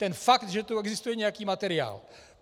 Ten fakt, že tu existuje nějaký materiál.